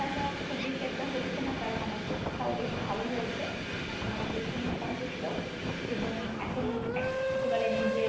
চিন্তা টাও খুব বেশি হচ্ছে না কারণ আমার পরীক্ষাও বেশ ভালো হয়েছে। আমি আমার পরীক্ষা নিয়ে সন্তুষ্ট। এবং এখন একেবারে নিজের